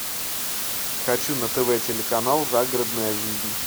хочу на тв телеканал загородная жизнь